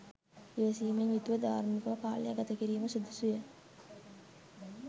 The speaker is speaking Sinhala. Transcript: ඉවසීමෙන් යුතුව ධාර්මිකව කාලය ගත කිරීම සුදුසුය